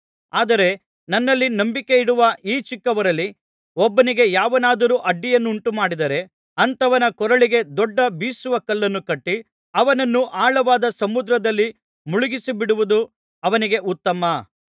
ಆದರೆ ನನ್ನಲ್ಲಿ ನಂಬಿಕೆಯಿಡುವ ಈ ಚಿಕ್ಕವರಲ್ಲಿ ಒಬ್ಬನಿಗೆ ಯಾವನಾದರೂ ಅಡ್ಡಿಯನ್ನುಂಟುಮಾಡಿದರೆ ಅಂಥವನ ಕೊರಳಿಗೆ ದೊಡ್ಡ ಬೀಸುವ ಕಲ್ಲನ್ನು ಕಟ್ಟಿ ಅವನನ್ನು ಆಳವಾದ ಸಮುದ್ರದಲ್ಲಿ ಮುಳುಗಿಸಿಬಿಡುವುದು ಅವನಿಗೆ ಉತ್ತಮ